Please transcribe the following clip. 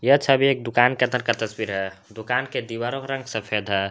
यह छवि एक दुकान के अंदर का तस्वीर है दुकान के दीवारों का रंग सफेद है।